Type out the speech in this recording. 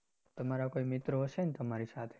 તમારા કોઈ મિત્રો હશે ને તમારી સાથે